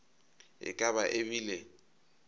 e ka ba e bile